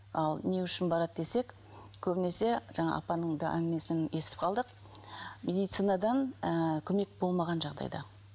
ал не үшін барады десек көбінесе жаңа апаның да әңгімесін естіп қалдық медицинадан ы көмек болмаған жағдайда